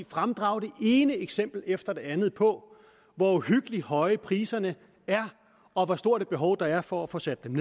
fremdrage det ene eksempel efter det andet på hvor uhyggeligt høje priserne er og hvor stort et behov der er for at få sat dem